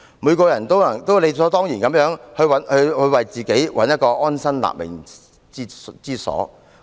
每個人都理所當然地想為自己找尋安身立命之所。